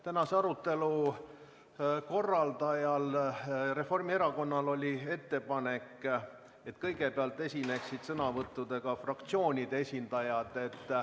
Tänase arutelu korraldajal Reformierakonnal oli ettepanek, et kõigepealt esineksid sõnavõttudega fraktsioonide esindajad.